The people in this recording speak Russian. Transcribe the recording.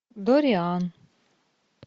дориан